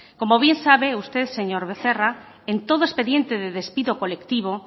como bien sabe usted señor becerra en todo expediente de despido colectivo